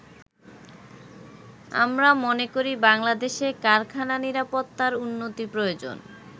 আমরা মনে করি বাংলাদেশে কারখানা নিরাপত্তার উন্নতি প্রয়োজন।